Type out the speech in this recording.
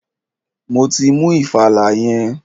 Mo ti mú ìfàlà yẹn.